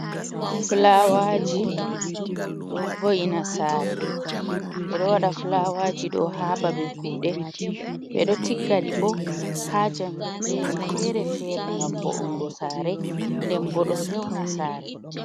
Filawaji ɗo vo’ina saare, ɓe ɗo waɗa filawaji ɗo haa ba be kuɗe, ɓe ɗo tigga ɗi ɓo haa jangirdeji fere-fere ngam vo’ingo saare, nden bo ɗo fe'una saare.